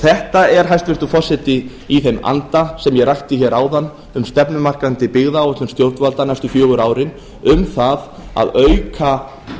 þetta er hæstvirtur forseti í þeim anda sem ég rakti hér áðan um stefnumarkandi byggðaáætlun stjórnvalda næstu fjögur árin um það að auka